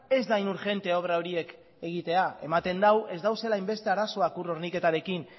ez da hain urgentea obra horiek egitea ematen du ez daudela hainbeste arazoak ur horniketarekin